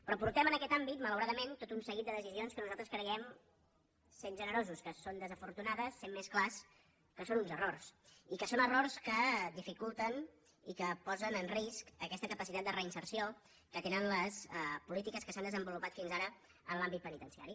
però hem pres en aquest àmbit malauradament tot un seguit de decisions que nosaltres creiem sent generosos que són desafortunades sent més clars que són uns errors i que són errors que dificulten i que posen en risc aquesta capacitat de reinserció que tenen les polítiques que s’han desenvolupat fins ara en l’àmbit penitenciari